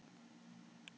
Sigur